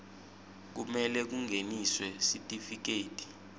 kumele kungeniswe sitifiketi